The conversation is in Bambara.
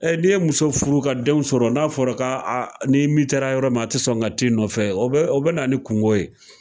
Ɛ n'i ye muso furu ka denw sɔrɔ n'a fɔra ko a n'i mitera yɔrɔ min a te sɔn ka t'i nɔfɛ o b o be na ni kungo ye